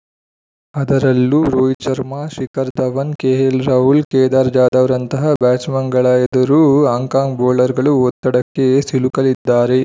ಅದರಲ್ಲೂ ರೋಹಿತ್‌ ಶರ್ಮಾ ಶಿಖರ್‌ ಧವನ್‌ ಕೆಎಲ್‌ರಾಹುಲ್‌ ಕೇದಾರ್‌ ಜಾಧವ್‌ರಂತಹ ಬ್ಯಾಟ್ಸ್‌ಮನ್‌ಗಳ ಎದುರು ಹಾಂಕಾಂಗ್‌ ಬೌಲರ್‌ಗಳು ಒತ್ತಡಕ್ಕೆ ಸಿಲುಕಲಿದ್ದಾರೆ